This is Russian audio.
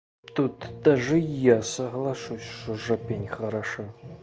тут даже я соглашусь что жопень хороша